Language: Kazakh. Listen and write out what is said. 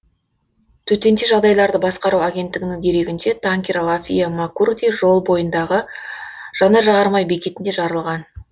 төтенше жағдайларды басқару агенттігінің дерегінше танкер лафия макурди жолы бойындағы жанар жағармай бекетінде жарылған